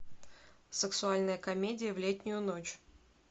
сексуальная комедия в летнюю ночь